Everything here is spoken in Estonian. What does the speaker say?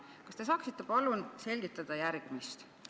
Kas te saaksite palun selgitada järgmist?